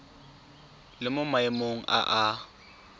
le mo maemong a a